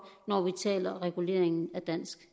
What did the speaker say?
når vi taler om reguleringen af dansk